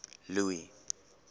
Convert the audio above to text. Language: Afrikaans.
louis